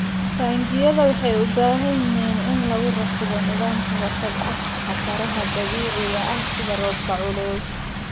Taangiyada waxay u baahan yihiin in lagu rakibo nidaam ka hortag ah khataraha dabiiciga ah sida roobka culus.